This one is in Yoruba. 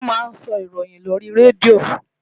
Wọ́n máa ń sọ ìròyìn lórí Radio.